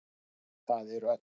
Það eru öll.